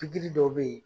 Pikiri dɔw bɛ ye